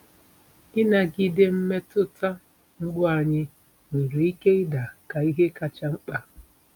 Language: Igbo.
Ịnagide mmetụta mgbu anyị nwere ike ịda ka ihe kacha mkpa.